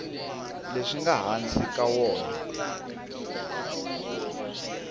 leswi nga hansi ka wona